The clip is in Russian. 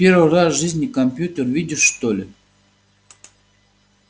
первый раз в жизни компьютер видишь что ли